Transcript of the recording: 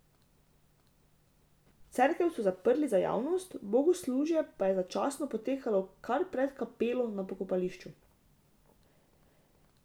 Cerkev so zaprli za javnost, bogoslužje pa je začasno potekalo kar pred kapelo na pokopališču.